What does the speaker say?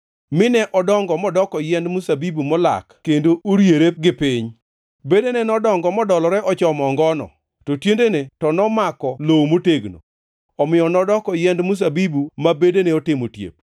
mine odongo modoko yiend mzabibu molak kendo oriere gi piny. Bedene nodongo modolore ochomo ongono, to tiendene to nomako lowo motegno. Omiyo nodoko yiend mzabibu ma bedene otimo otiep.